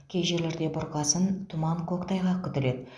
кей жерлерде бұрқасын тұман көктайғақ күтіледі